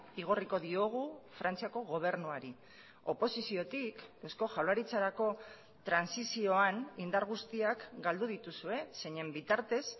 igorriko diogu frantziako gobernuari oposiziotik eusko jaurlaritzarako trantsizioan indar guztiak galdu dituzue zeinen bitartez